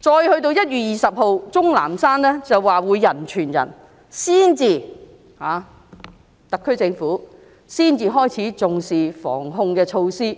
再到1月20日，鍾南山說病毒會人傳人，特區政府才開始重視防控措施。